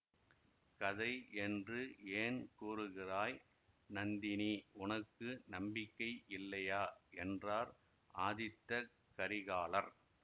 கதை என்று ஏன் கூறுகிறாய் நந்தினி உனக்கு நம்பிக்கை இல்லையா என்றார் ஆதித்தகரிகாலர்